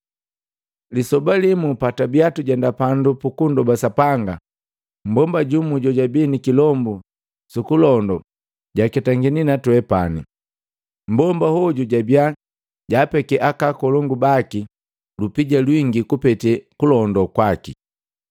Lisoba limu, patwabia tujenda pandu puku nndoba Sapanga, mmbomba jumu jojabi nikilombu sukulondo jaketangini natwepani. Mbomba hoju jabia jaapeke akakolongu baki lupija lwingi kupete kulondola kwaki.